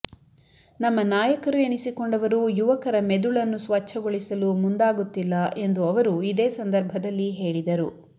ನಮ್ಮ ನಾಯಕರು ಎನಿಸಿಕೊಂಡವರು ಯುವಕರ ಮೆದುಳನ್ನು ಸ್ವಚ್ಛಗೊಳಿಸಲು ಮುಂದಾಗುತ್ತಿಲ್ಲ ಎಂದು ಅವರು ಇದೇ ಸಂದರ್ಭದಲ್ಲಿ ಹೇಳಿದರು